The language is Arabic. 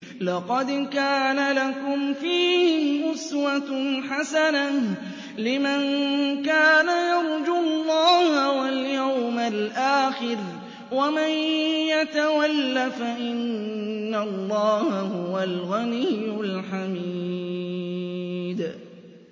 لَقَدْ كَانَ لَكُمْ فِيهِمْ أُسْوَةٌ حَسَنَةٌ لِّمَن كَانَ يَرْجُو اللَّهَ وَالْيَوْمَ الْآخِرَ ۚ وَمَن يَتَوَلَّ فَإِنَّ اللَّهَ هُوَ الْغَنِيُّ الْحَمِيدُ